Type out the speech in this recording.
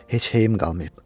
Heç heyim qalmayıb.